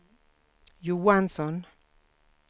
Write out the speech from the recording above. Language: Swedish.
Johansson